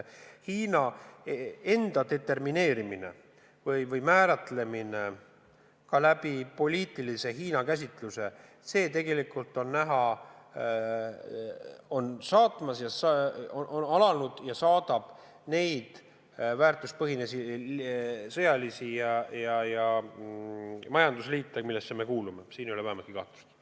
Hiina determineerimine või määratlemine Hiina poliitilise käsituse alusel on alanud ja see puudutab neid väärtuspõhiseid sõjalisi ja majandusliite, millesse me kuulume, s.o Euroopa Liitu ja NATO-t.